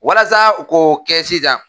Walasa u ko kɛ sisan